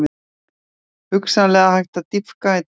Hugsanlega hægt að dýpka í dag